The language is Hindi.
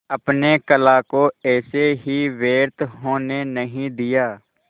अपने कला को ऐसे ही व्यर्थ होने नहीं दिया